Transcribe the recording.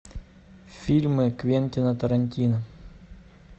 фильмы квентина тарантино